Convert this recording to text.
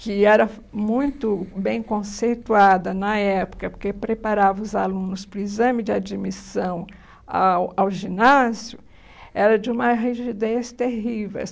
que era muito bem conceituada na época, porque preparava os alunos para o exame de admissão ao ao ginásio, era de uma rigidez terrível.